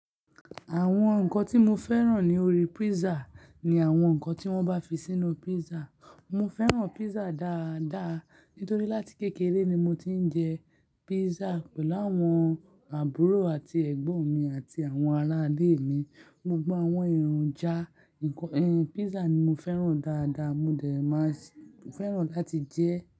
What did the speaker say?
Àwọn nǹkan tí mo fẹ́ràn ní orí pizza ni àwọn nǹkan tí wọ́n bá fi sínú pizza. Mo fẹ́ràn pizza dáadáa nítorí láti kékeré ni mo ti ń jẹ pizza pẹ̀lú àwọn àbúrò àti ẹ̀gbọ́n mi àti àwọn ará ilé mi. Mo gba àwọn ìronjà, pizza ni mo fẹ́ràn dáadáa, mo dẹ̀ máa fẹ́ràn láti jẹ ẹ́.